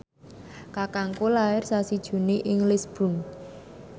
kakangku lair sasi Juni ing Lisburn